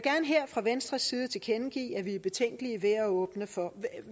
her fra venstres side tilkendegive at vi er betænkelige ved at åbne for